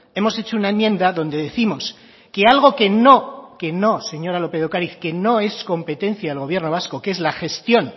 hemos hecho una enmienda donde décimos que algo que no que no señora lópez de ocariz que no es competencia del gobierno vasco que es la gestión